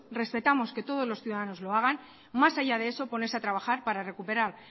respetamos que todos los ciudadanos lo hagan más haya de eso ponerse a trabajar para recuperar